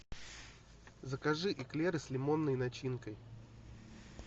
закажи эклеры с лимонной начинкой